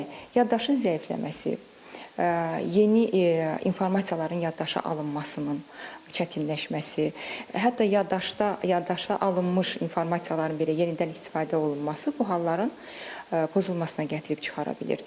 Yəni yaddaşın zəifləməsi, yeni informasiyaların yaddaşa alınmasının çətinləşməsi, hətta yaddaşda yaddaşa alınmış informasiyaların belə yenidən istifadə olunması bu halların pozulmasına gətirib çıxara bilir.